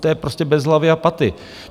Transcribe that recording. To je prostě bez hlavy a paty.